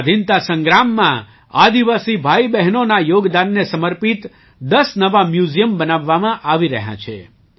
સ્વાધીનતા સંગ્રામમાં આદિવાસી ભાઈબહેનોના યોગદાનને સમર્પિત 10 નવાં મ્યૂઝિયમ બનાવવામાં આવી રહ્યાં છે